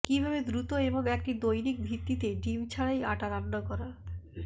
কিভাবে দ্রুত এবং একটি দৈনিক ভিত্তিতে ডিম ছাড়াই আটা রান্না করা